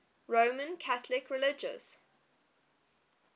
roman catholic religious